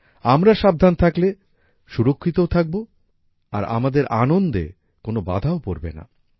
আমরা সাবধান থাকলে সুরক্ষিতও থাকব আর আমাদের আনন্দে কোন বাধাও পড়বে না